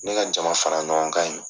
Ne ka jamafara ɲɔgɔnkan in.